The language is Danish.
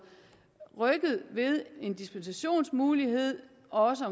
rykket ved en dispensationsmulighed også